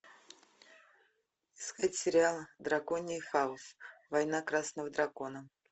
искать сериал драконий хаос война красного дракона